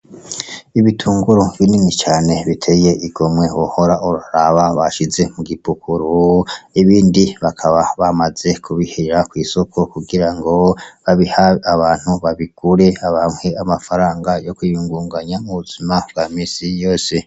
Ibitunguru binini cane biteye igomwe wohora uraraba, bashize mu gipukuru ibindi bakaba bamaze kubishira kwisoko kugira ngo babihe abantu babigure baronke amafaranga yo kwiyungunganya mu buzima bwa minsi yose.